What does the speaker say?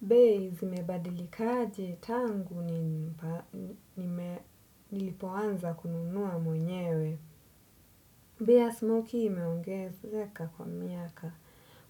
Bei zimebadilika aje tangu nilipoanza kununua mwenyewe. Bei ya smoki imeongezeka kwa miaka.